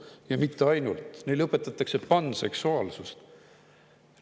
Ja mitte ainult, neile õpetatakse panseksuaalsust!